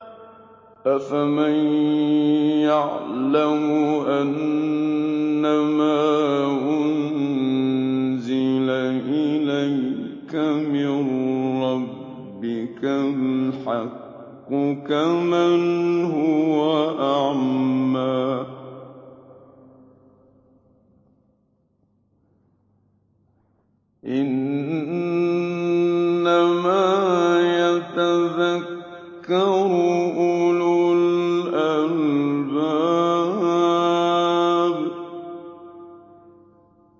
۞ أَفَمَن يَعْلَمُ أَنَّمَا أُنزِلَ إِلَيْكَ مِن رَّبِّكَ الْحَقُّ كَمَنْ هُوَ أَعْمَىٰ ۚ إِنَّمَا يَتَذَكَّرُ أُولُو الْأَلْبَابِ